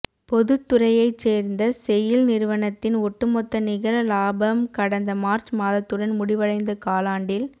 பொதுத் துறையைச் சோ்ந்த செயில் நிறுவனத்தின் ஒட்டுமொத்த நிகர லாபம் கடந்த மாா்ச் மாதத்துடன் முடிவடைந்த காலாண்டில்